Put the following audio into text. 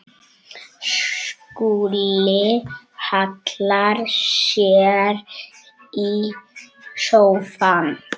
Skúli hallar sér í sófann.